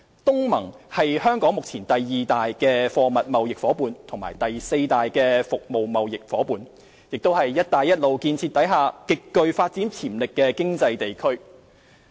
東南亞國家聯盟是香港目前第二大貨物貿易夥伴和第四大服務業貿易夥伴，亦是"一帶一路"建設下極具發展潛力的經濟地區。